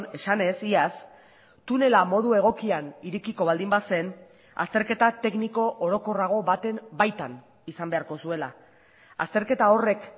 esanez iaz tunela modu egokian irekiko baldin bazen azterketa tekniko orokorrago baten baitan izan beharko zuela azterketa horrek